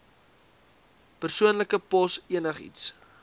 persoonlike pos enigiets